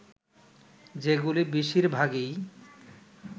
যেগুলি বেশির ভাগই